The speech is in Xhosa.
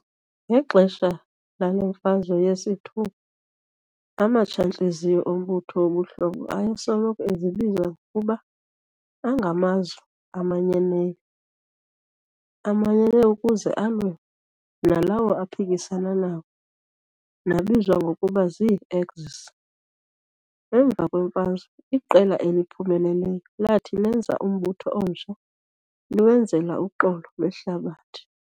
ngexesha lale Mfazwe yesi-II, amatshantliziyo ombutho wobuhlobo ayesoloko ezibiza ngokuba "angamazwe amanyeneyo", amanyene ukuze alwe nalawo aphikisana nawo nabizwa ngokuba zii-axis. emva kweMfazwe, iqela eliphumeleleyo lathi lenza umbutho omtsha liwenzela uxolo lwehlabathi.